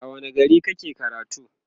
a wani gari kake karatu?